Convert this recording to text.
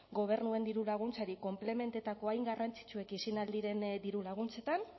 gobernuen dirulaguntzari konplementatzeko hain garrantzitsuak izan ahal diren dirulaguntzetan